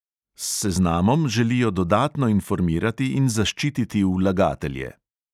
S seznamom želijo dodatno informirati in zaščititi vlagatelje.